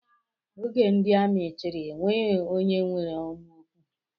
Oge ndị amị chịrị, enweghị onye nwere ọnụ okwu